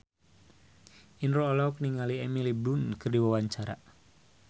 Indro olohok ningali Emily Blunt keur diwawancara